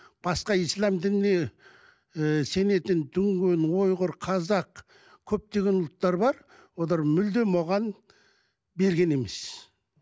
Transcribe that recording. басқа ислам дініне ііі сенетін дүнген ұйғыр қазақ көптеген ұлттар бар олар мүлдем оған берген емес